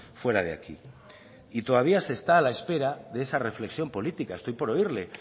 fuera de aquí y todavía se está a la espera de esa reflexión política estoy por oírle